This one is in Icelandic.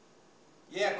ég